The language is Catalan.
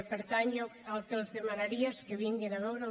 per tant jo el que els demanaria és que vinguin a veure